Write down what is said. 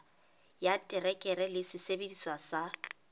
ya terekere le sesebediswa sa